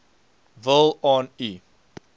wil aan u